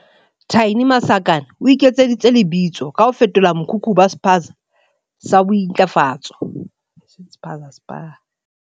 Thaini Masakane o iketseditse lebitso ka ho fetola mokhukhu ho ba Spa sa bo intlafatso.